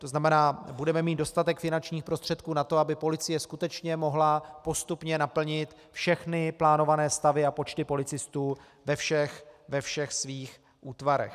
To znamená, budeme mít dostatek finančních prostředků na to, aby policie skutečně mohla postupně naplnit všechny plánované stavy a počty policistů ve všech svých útvarech.